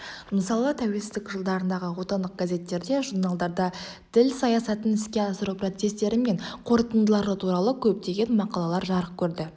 мысалы тәуелсіздік жылдарындағы отандық газеттерде журналдарда тіл саясатын іске асыру процестері мен қорытындылары туралы көптеген мақалалар жарық көрді